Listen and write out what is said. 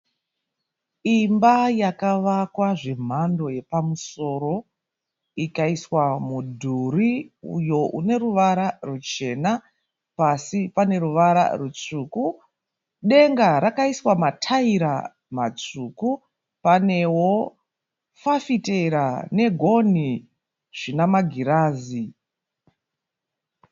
Imba yakavakwa zvemhando yepamusoro ikaiswa mudhuri uyo une ruvara ruchena. Pasi pane ruvara rutsvuku. Denga rakaiswa mataira matsvuku. Panewo fafitera negonhi zvinamagirazi.